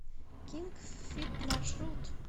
кинг фит маршрут